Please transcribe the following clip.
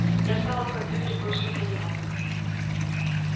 я стала в компьютере кое-что понимать